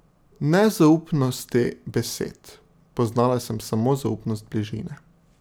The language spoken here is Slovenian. Ne zaupnosti besed, poznala sem samo zaupnost bližine.